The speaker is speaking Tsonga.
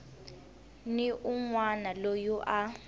ni un wana loyi a